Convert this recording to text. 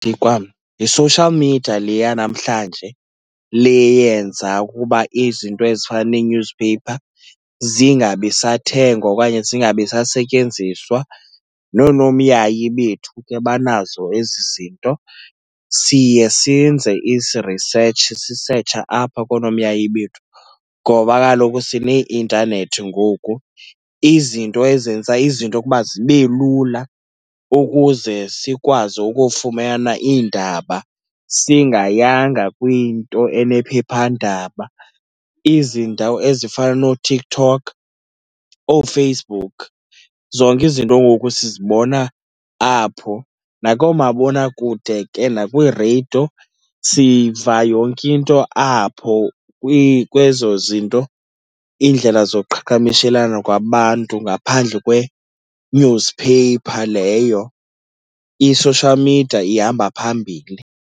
kwam yi-social media le yanamhlanje le yenza ukuba izinto ezifana nee-newspaper zingabi sathengwa okanye zingabi sasetyenziswa. Noonomyayi bethu ke banazo ezi zinto. Siye siyenze ezi research, sisetshe apha koonomyayi bethu ngoba kaloku sineeintanethi ngoku, izinto ezenza izinto ukuba zibe lula ukuze sikwazi ukufumana iindaba singayanga kwiinto enephephandaba. Izindawo ezifana nooTiktok, ooFacebook, zonke izinto ngoku sizibona apho nakoomabonakude ke nakwireyido siva yonke into apho kwezo zinto. Iindlela zoqhakamishelana kwabantu ngaphandle kwe-newspaper leyo, i-social media ihamba phambili.